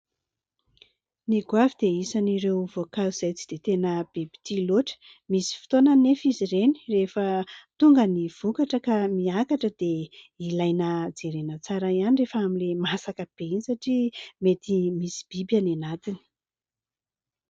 Ny goavy dia isan'ireo voankazo izay tsy dia tena be mpitia loatra. Misy fotoana nefa izy ireny rehefa tonga ny vokatra ka miakatra dia ilaina jerena tsara ihany rehefa amin'ilay masaka be iny satria mety misy biby any anatiny.